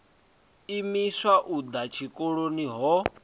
imiswa u ḓa tshikoloni ho